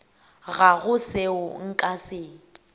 ga go seo nka se